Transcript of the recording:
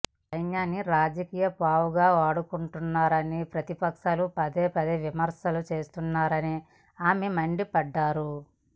సైన్యాన్ని రాజకీయ పావుగా వాడుకుంటున్నారని ప్రతిపక్షాలు పదేపదే విమర్శలు చేస్తున్నారని ఆమె మండిపడ్డారు